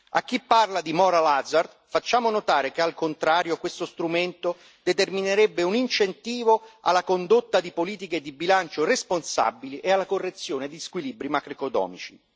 A chi parla di moral hazard facciamo notare che, al contrario, questo strumento determinerebbe un incentivo alla condotta di politiche di bilancio responsabili e alla correzione di squilibri macroeconomici.